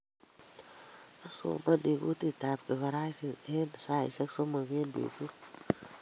Asomani kutitab kifaransaik eng saishek somok eng betut